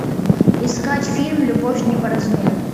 искать фильм любовь не по размеру